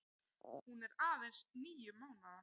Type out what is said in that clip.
Hún er aðeins níu mánaða.